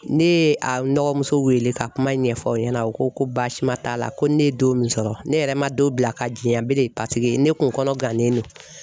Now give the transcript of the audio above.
Ne ye a n dɔgɔmuso wele ka kuma ɲɛfɔ o ɲɛna o ko ko baasima t'a la ko ne ye don min sɔrɔ ne yɛrɛ man don bila ka janyɛn bele paseke ne kun kɔnɔ gannen do.